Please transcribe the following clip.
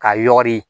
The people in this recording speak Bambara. Ka yɔgɔri